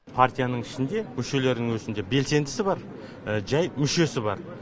партияның ішінде мүшелерінің өзінде белсендісі бар жай мүшесі бар